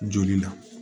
Joli la